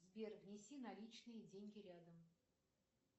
сбер внеси наличные деньги рядом